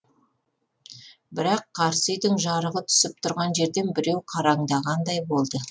бірақ қарсы үйдің жарығы түсіп тұрған жерден біреу қараңдағандай болды